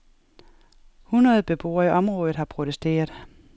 Hundrede beboere i området har protesteret.